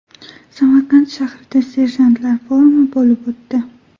Samarqand shahrida serjantlar forumi bo‘lib o‘tdi.